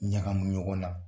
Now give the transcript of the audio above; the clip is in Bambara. Ɲagamu ɲɔgɔnna